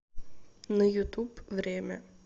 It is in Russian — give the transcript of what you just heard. на ютуб время